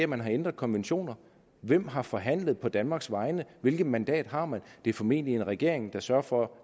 man har ændret konventioner hvem har forhandlet på danmarks vegne hvilket mandat har man det er formentlig en regering der sørger for